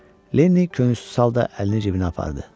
Lenni könülsüz halda əlini cibinə apardı.